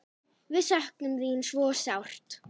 Við söknum þín svo sárt.